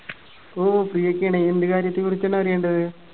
ഓ free യൊക്കെ ആണ്. എന്ത് കാര്യത്തെ കുറിച്ചാണ് അറിയണ്ടത്?